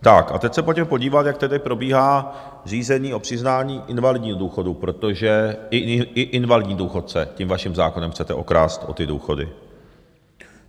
Tak a teď se pojďme podívat, jak tedy probíhá řízení o přiznání invalidního důchodu, protože i invalidní důchodce tím vaším zákonem chcete okrást o ty důchody.